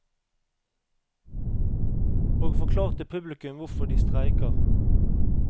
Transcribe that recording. Og forklarte publikum hvorfor de streiker.